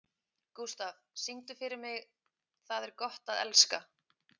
Gústaf, syngdu fyrir mig „Tað er gott at elska“.